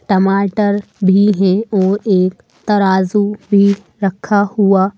टमाटर भी है और एक तराजू भी रखा हुआ--